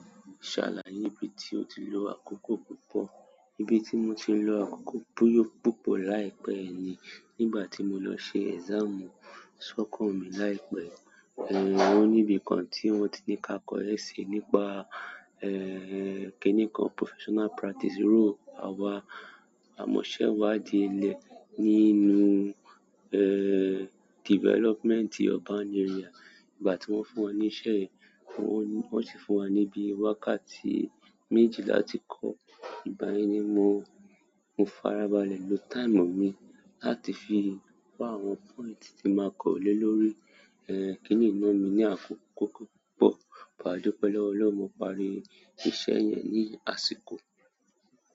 Ṣàlàye ibi tí o ti lo àkókò púpọ̀, níbi tí mo ti lo àkókò buyo púpọ̀ láì pẹ́ yi ni nígbà tí mo lọ ṣe exam sọ́kan mi láì pẹ́, wọ́n níbi kan tí wọ́n ti ní ká kọ́ essay nípa, kínní kan professional practice role àwa àmọ̀sẹ́wádìí ilẹ̀ nínú, development urban area. Nígbà tí wọ́n fún wa níṣẹ́ yi, wọ́n sì fún wa níbí wákàtí méjì láti kọ́, ìbáyẹn ni mo farabalẹ̀ lo time mi láti fi kọ́ àwọn point tí màá kọ we le lórí, kínní náà mi ní àkókò púpọ̀ but, adupe lowo Ọlọ́run, mo parí iṣẹ́ yẹn ni àsìkò.